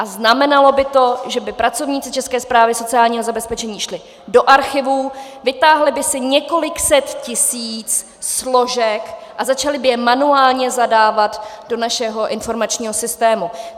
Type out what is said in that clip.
A znamenalo by to, že by pracovníci České správy sociálního zabezpečení šli do archivů, vytáhli by si několik set tisíc složek a začali by je manuálně zadávat do našeho informačního systému.